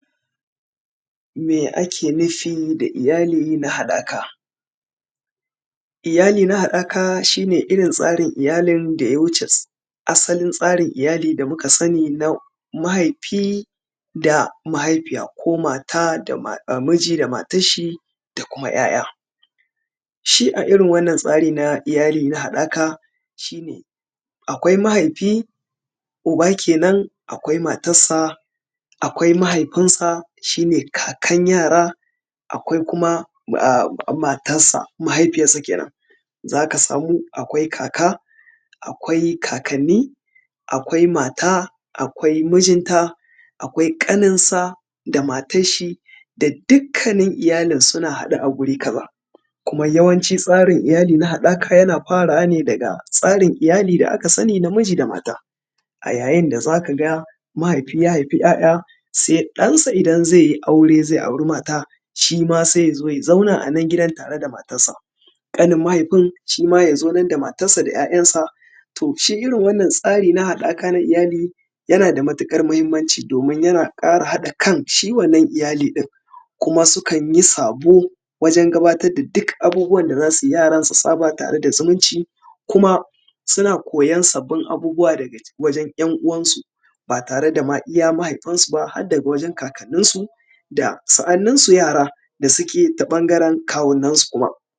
me ake nufi da iyali na haɗaka iyali na haɗaka shi ne irin tsarin iyalin da ya wuce asalin tsarin iyalin da muka sani na mahaifi da na mahaifiya ko mata miji da matan shi da kuma 'ya' ya shi a irin wannan tsari na iyali na haɗaka shine akwai mahaifi uba kenan akwai matarsa akwai mahaifinsa shine kakan yara akwai kuma matarsa mahaifiyarsa kenan za ka samu akwai kaka akwai kakanni akwai mata akwai mijinta akwai ƙaninsa da matar shi da dukkanin iyalin suna haɗe a guri kaza kuma yawanci tsarin iyali na haɗaka yana farawa ne daga tsarin iyali da aka sani na miji da mata a yayin da za ka ga mahaifi ya haifi 'ya'ya sai ɗansa idan zai yi aure zai auri mata shi ma sai ya zo ya zauna a wannan gidan tare da matansa ƙanin mahaifin shi ma ya zo da matansa da 'ya'yansa toh shi irin wannan tsari na iyali na haɗaka yana da matuƙar muhimmanci domin yana ƙara haɗa kan shi wannan iyali ɗin kuma sukan yi sabo wajen gabatar da duk abubuwan da za su yi yaran su saba tare da zumunci kuma suna koyan sabbin abubuwa daga wajen ‘yan uwansu ba tare da iya ma mahaifinsu ba harda wajen kakanninsu da sa’anninsu yara da su ke ta ɓangaren kawunansu kuma